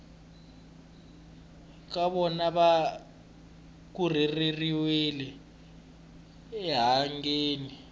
ka vona va rhurheriwile enhangeni